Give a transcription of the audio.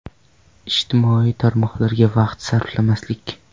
Ijtimoiy tarmoqlarga vaqt sarflamaslik.